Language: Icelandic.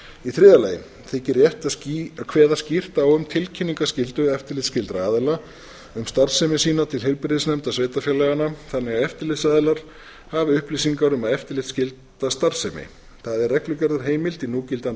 í þriðja lagi þykir rétt að kveða skýrt á um tilkynningarskyldu eftirlitsskyldra aðila um starfsemi sína til heilbrigðisnefnda sveitarfélaganna þannig að eftirlitsaðilar hafi upplýsingar um eftirlitsskylda starfsemi það er reglugerðarheimild í núgildandi